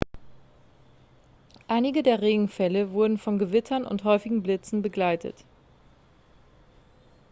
einige der regenfälle wurden von gewittern und häufigen blitzen begleitet